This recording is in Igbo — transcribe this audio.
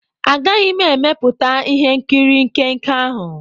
Agaghị m emepụta ihe nkiri nke nke ahụ.